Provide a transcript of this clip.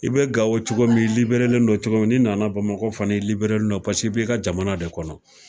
I be gawo cogo min i liberelen don cogo min ni nana bamakɔ fana i liberelen don pase i b'i ka jamana de kɔnɔ